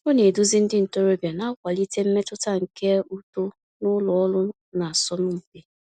Ọ na-eduzi ndị ntorobịa, na-akwalite mmetụta nke uto n’ụlọ ọrụ na-asọ mpi.